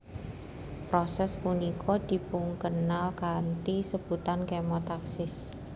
Proses punika dipunkenal kanthi sebutan kemotaksis